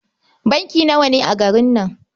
Banki nawa ne a garin nan?